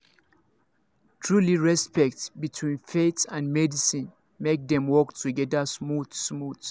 trulyrespect between faith and medicine make dem work together smooth smooth